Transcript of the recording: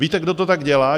Víte, kdo to tak dělá?